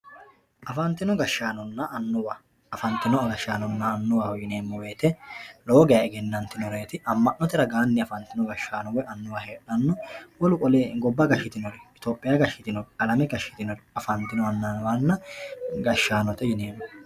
Afanitino gashanonna anuwa, afantino gashanonna anuwaho yineemo woyite lowo geeya eggenanitinoreti, ama'note ragaanni afanitino anuwa heedhano wolu qole gobba gashitinori, alame gashitinori afanitino anuwanna gashanote yineemo.